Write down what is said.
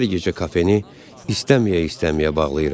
Hər gecə kafeni istəməyə-istəməyə bağlayıram.